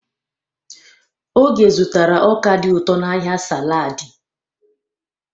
Oge zụtara ọka dị ụtọ n'ahịa saladị.